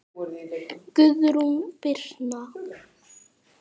Guðrún Birna.